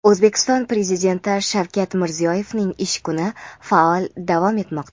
O‘zbekiston Prezidenti Shavkat Mirziyoyevning ish kuni faol davom etmoqda.